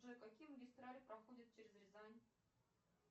джой какие магистрали проходят через рязань